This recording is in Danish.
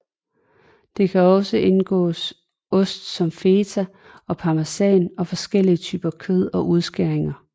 Der kan også indgå ost som feta eller parmesan og forskellige typer kød og udskæringer